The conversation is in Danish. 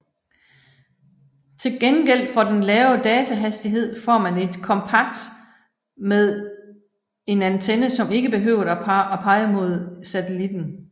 Til gengæld for den lave datahastighed får man et kompakt med en antenne som ikke behøver at pege mod satellitten